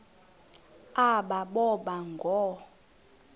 aba boba ngoo